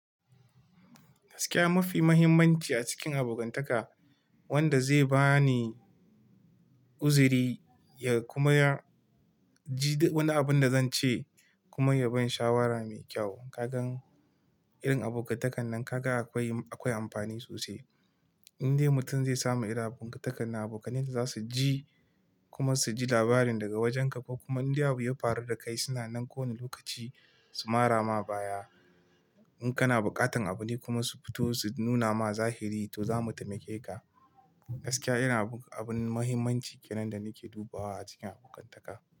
Gaskiya mafi muhimmanci a cikin abokantaka wanda zai bani uzuri ya kuma ya ji wani abin da zan ce kuma ya bani shawara mai kyau. Kaga irin abokantakan nan ka ga akwai amfani sosai. Inde mutum zai samu irin abokantakan nan, abokanai za su ji kuma su ji labarin daga wajenka kuma inda abu ya faru da kai suna nan kowane lokaci su mara ma baya. In kana buƙatan abu ne kuma su fito su nuna ma zahiri to za mu taimake ka. Gaskiya irin abun muhimmanci kenan da nake dubawa a cikin abokantaka.